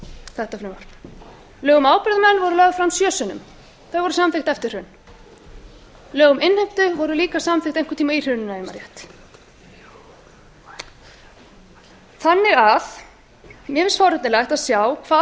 þetta frumvarp frumvarp til laga um ábyrgðarmenn var lagt fram sjö sinnum það var samþykkt eftir hrun lög um innheimtu voru líka samþykkt einhvern tímann í hruninu ef ég man rétt mér finnst forvitnilegt að sjá hvað